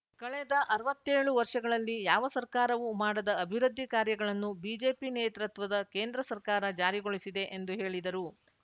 ಕಳೆದ ಅರ್ವತ್ತೇಳು ವರ್ಷಗಳಲ್ಲಿ ಯಾವ ಸರ್ಕಾರವೂ ಮಾಡದ ಅಭಿವೃದ್ಧಿ ಕಾರ್ಯಗಳನ್ನು ಬಿಜೆಪಿ ನೇತೃತ್ವದ ಕೇಂದ್ರ ಸರ್ಕಾರ ಜಾರಿಗೊಳಿಸಿದೆ ಎಂದು ಹೇಳಿದರು